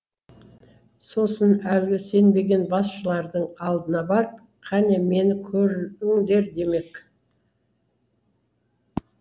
сосын әлгі сенбеген басшылардың алдына барып қане мені көріңдер демек